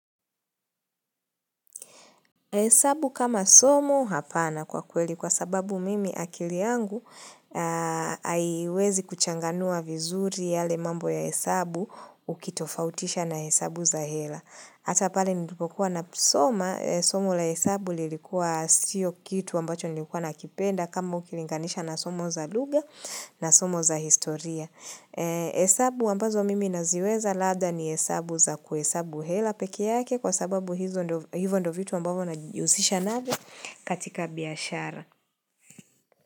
Hesabu kama somo hapana kwa kweli kwa sababu mimi akiliangu haiwezi kuchanganua vizuri yale mambo ya hesabu ukitofautisha na hesabu za hela. Hata pale nilikuwa na soma, somo la hesabu lilikuwa siyo kitu ambacho nilikuwa na kipenda kama ukilinganisha na somo za lugha na somo za historia. Hesabu ambazo mimi naziweza labda ni hesabu za kuhesabu hela pekee yake kwa sababu hivyo ndo vitu ambavo na hujiusisha navyo katika biashara.